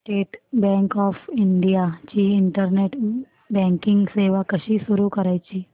state Bank of India ची internet banking सेवा कशी सुरू करायची